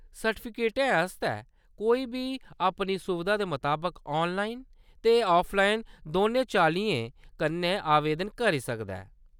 सर्टिफिकेटै आस्तै कोई बी अपनी सुबधा दे मताबक ऑनलाइन ते ऑफलाइन दौनें चाल्लियें कन्नै आवेदन करी सकदा ऐ।